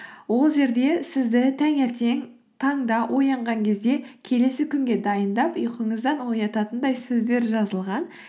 ол жерде сізді таңертең таңда оянған кезде келесі күнге дайындап ұйқыңыздан оятатындай сөздер жазылған